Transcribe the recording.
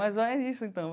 Mas é isso, então.